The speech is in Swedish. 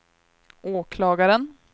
åklagaren